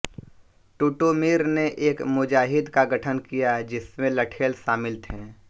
टिटुमिर ने एक मुजाहिद का गठन किया जिसमें लठेल शामिल थे